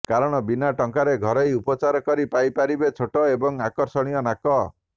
କାରଣ ବିନା ଟଙ୍କାରେ ଘରୋଇ ଉପଚାର କରି ପାଇପାରିବେ ଛୋଟ ଏବଂ ଆକର୍ଷଣୀୟ ନାକ